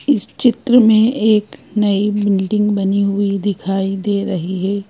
इस चित्र में एक नई बिल्डिंग बनी हुई दिखाई दे रही है।